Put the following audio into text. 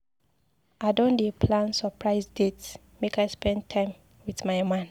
I don dey plan surprise date make I spend time wit my man.